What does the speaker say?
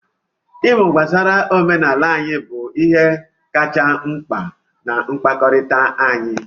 Ịmụ gbasara omenala anyị bụ ihe kacha mkpa na mkpakọrịta anyị.